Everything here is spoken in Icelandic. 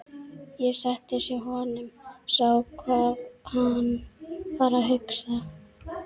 Ég settist hjá honum, sá hvað hann var að hugsa.